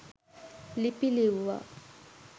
ලිපි ලිව්වා.